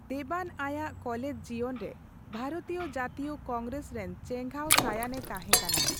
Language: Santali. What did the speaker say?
ᱫᱮᱵᱟᱱ ᱟᱭᱟᱜ ᱠᱚᱞᱮᱡᱽ ᱡᱤᱭᱚᱱᱨᱮ ᱵᱷᱟᱨᱚᱛᱤᱭᱚ ᱡᱟᱹᱛᱤᱭᱚ ᱠᱚᱝᱜᱨᱮᱥ ᱨᱮᱱ ᱪᱮᱜᱷᱟᱸᱣ ᱥᱟᱭᱟᱱᱮ ᱛᱟᱸᱦᱮᱠᱟᱱᱟ ᱾